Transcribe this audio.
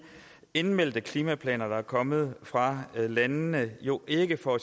indmeldte klimaplaner der er kommet fra landene jo ikke får